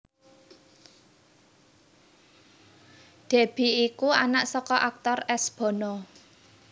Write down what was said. Deby iku anak saka aktor S Bono